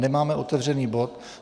Nemáme otevřený bod.